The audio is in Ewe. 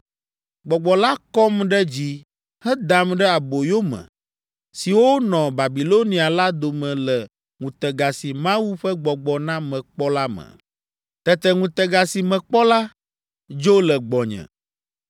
Gbɔgbɔ la kɔm ɖe dzi hedam ɖe aboyome siwo nɔ Babilonia la dome le ŋutega si Mawu ƒe Gbɔgbɔ na mekpɔ la me. Tete ŋutega si mekpɔ la, dzo le gbɔnye,